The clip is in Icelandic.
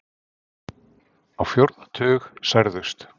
Á fjórða tug særðust